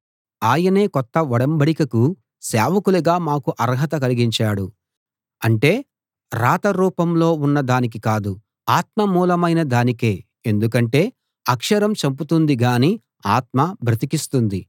ఆయనే కొత్త ఒడంబడికకు సేవకులుగా మాకు అర్హత కలిగించాడు అంటే వ్రాత రూపంలో ఉన్న దానికి కాదు ఆత్మ మూలమైన దానికే ఎందుకంటే అక్షరం చంపుతుంది గానీ ఆత్మ బ్రతికిస్తుంది